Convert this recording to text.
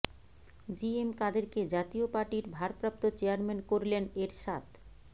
জি M কাদেরকে জাতীয় পার্টির ভারপ্রাপ্ত চেয়ারম্যান করলেন এরশাদ